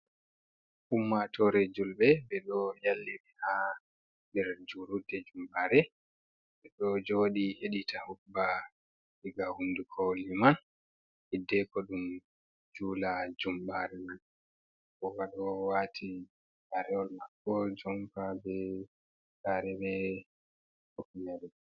Ummatore julɓe ɓeɗo yallirii ha nder juurudde jumɓare. Ɓeɗo jooɗi heɗita hudba diga huunduko liiman, hiddeko ɗum juula jumɓareman bobaɗoo waati gaarewol maako jompa, be gare be hifneere.